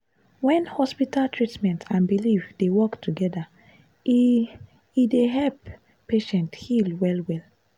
wen hospital treatment and belief dey work together e e dey help patient heal well-well.